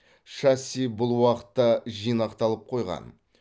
шасси бұл уақытта жинақталып қойған